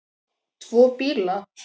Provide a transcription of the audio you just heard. Tvo bíla?